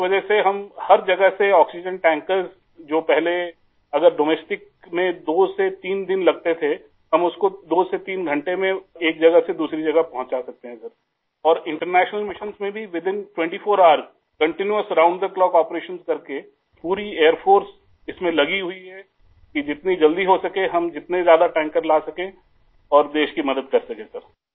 जिस वजह से हम हर जगह से आक्सीजेन tankersजो पहले अगर डोमेस्टिक में 2 से 3 दिन लगते थे हम उसको 2 से 3 घंटे में एक जगह से दूसरी जगह पहुंचा सकते हैं सर और इंटरनेशनल मिशन्स में भी within 24 hours continuous round the clock operations करके पूरी एयर फोर्स इसमें लगी हुई है कि जितनी जल्दी हो सके हम जितने ज्यादा टैंकर्स ला सकें और देश की मदद कर सकें सर आई